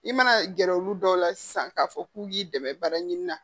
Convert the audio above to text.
I mana gɛrɛ olu dɔw la sisan k'a fɔ k'u k'i dɛmɛ baara ɲini na